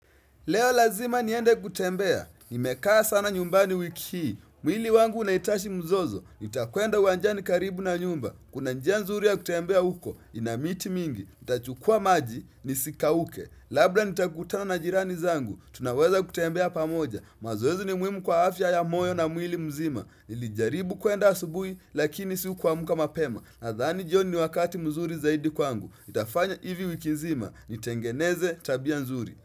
Leo lazima niende kutembea, nimekaa sana nyumbani wiki hii, mwili wangu unahitashi mzozo, nitakwenda uwanjani karibu na nyumba, kuna njia nzuri ya kutembea huko, ina miti mingi, itachukuwa maji, nisikauke, labla nitakutana na jirani zangu, tunaweza kutembea pamoja, mazoezi ni muhimu kwa afya ya moyo na mwili mzima, nilijaribu kwenda asubuhi, lakini sikuamka mapema, nadhani joni wakati mzuri zaidi kwangu, nitafanya hivi wiki nzima, nitengeneze tabia nzuri.